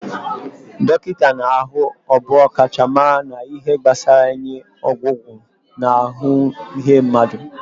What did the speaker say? Dọkịta ahụ bụ ọkachamara na ihe gbasara inye ọgwụgwọ na ahụ ihe mmadụ